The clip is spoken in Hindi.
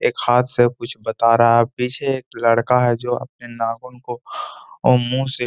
एक हाथ से कुछ बता रहा और पीछे एक लड़का है जो अपने नाखून को ओ मुँह से --